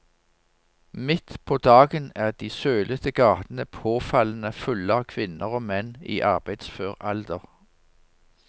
Midt på dagen er de sølete gatene påfallende fulle av kvinner og menn i arbeidsfør alder.